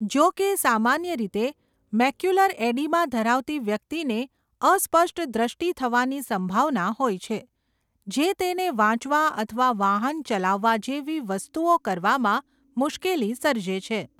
જો કે, સામાન્ય રીતે, મેક્યુલર એડીમા ધરાવતી વ્યક્તિને અસ્પષ્ટ દ્રષ્ટિ થવાની સંભાવના હોય છે, જે તેને વાંચવા અથવા વાહન ચલાવવા જેવી વસ્તુઓ કરવામાં મુશ્કેલી સર્જે છે.